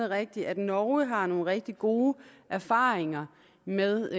rigtigt at norge har nogle rigtig gode erfaringer med